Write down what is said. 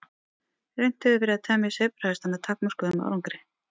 Reynt hefur verið að temja sebrahesta með takmörkuðum árangri.